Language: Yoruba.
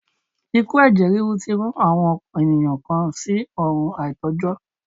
Ikú ẹ̀jẹ̀ ríru tí rán àwọn ènìyàn kan sí ọ̀run àìtó jọ́.